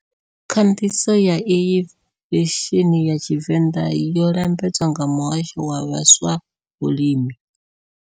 Khandiso ya iyi veseni ya Tshivenda yo lambedzwa nga Muhasho wa vhaswa Vhulimi.